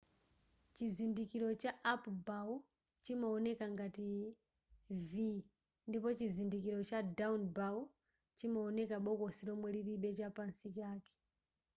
chizindikiro cha up bow chimaoneka ngati v ndipo chizindikiro cha down bow chimaoneka bokosi lomwe lilibe chapansi chake